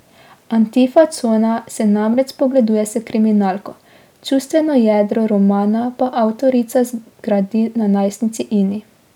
Antifa cona se namreč spogleduje s kriminalko, čustveno jedro romana pa avtorica zgradi na najstnici Ini.